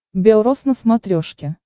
белрос на смотрешке